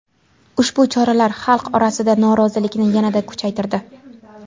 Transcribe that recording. Ushbu choralar xalq orasidagi norozilikni yanada kuchaytirdi.